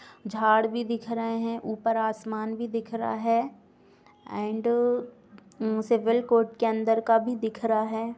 झाड़ भी दिख रहे हैं ऊपर आसमान भी दिख रहा है एंड सिविल कोर्ट के अंदर का भी दिख रहा है।